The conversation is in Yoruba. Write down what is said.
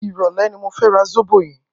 Irọlẹ̀ ni mó fè rà sóbó yèn